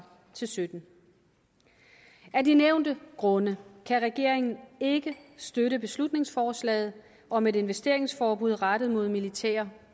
til sytten af de nævnte grunde kan regeringen ikke støtte beslutningsforslaget om et investeringsforbud rettet mod militære